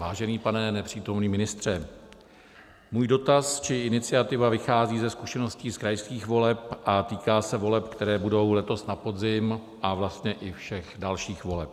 Vážený pane nepřítomný ministře, můj dotaz či iniciativa vychází ze zkušeností z krajských voleb a týká se voleb, které budou letos na podzim, a vlastně i všech dalších voleb.